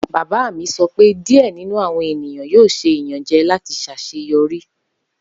Baba mi sọ pe diẹ ninu awọn eniyan yoo ṣe iyanjẹ lati ṣaṣeyọri.